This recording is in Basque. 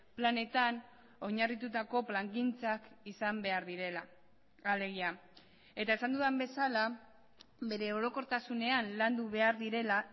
planetan oinarritutako plangintzak izan behar direla alegia eta esan dudan bezala bere orokortasunean landu behar direla